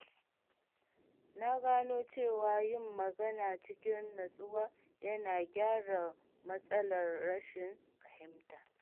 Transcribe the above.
Na gano cewa yin magana cikin natsuwa yana gyara matsalar rashin fahimta.